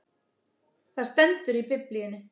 Það stendur í biblíunni!